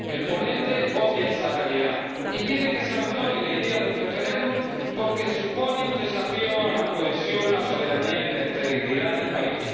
El ponente obvia esta realidad y pide que se abandone la idea de un referéndum porque supone un desafío a la cohesión, la soberanía y la integridad del país.